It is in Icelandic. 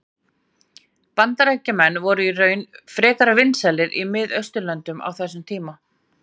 Bandaríkjamenn voru í raun frekar vinsælir í Mið-Austurlöndum á þessum tíma.